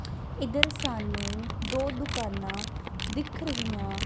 ਇਧਰ ਸਾਨੂੰ ਦੋ ਦੁਕਾਨਾਂ ਦਿਖ ਰਹੀਆਂ--